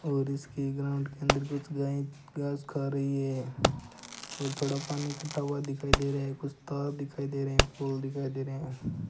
और इसके ग्राउंड के अंदर कुछ गाय घास खा रही है और थोड़ा पानी इकट्ठा हुआ दिखाई दे रहा है कुछ तार दिखाई दे रहे हैं फूल दिखाई दे रहे हैं।